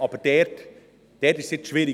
Aber dort ist es aus diesem Grund schwierig.